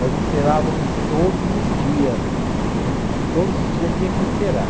Nós encerávamos todos os dias, todos os dias tinha que encerar.